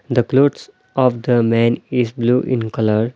the clothes of the man is blue in colour.